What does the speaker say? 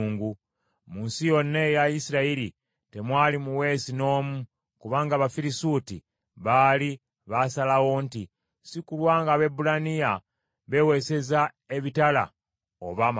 Mu nsi yonna eya Isirayiri temwali muweesi n’omu, kubanga Abafirisuuti baali baasalawo nti, “Si kulwa ng’Abaebbulaniya beeweeseza ebitala oba amafumu!”